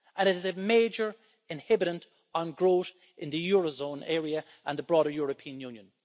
It is a major inhibitor on growth in the eurozone area and the broader European Union.